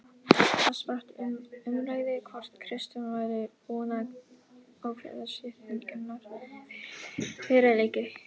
Þar spratt um umræða hvort Kristján væri búinn að ákveða skiptingarnar fyrir leiki.